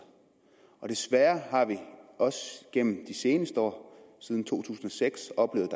og desværre har vi også gennem de seneste år siden to tusind og seks oplevet